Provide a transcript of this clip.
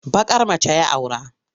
Baƙar mace ya aura.